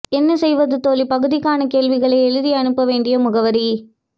என்ன செய்வது தோழி பகுதிக்கான கேள்விகளை எழுதி அனுப்ப வேண்டிய முகவரி